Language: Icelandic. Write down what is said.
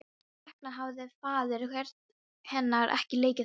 Hvers vegna hafði faðir hennar ekki leikið þetta eftir?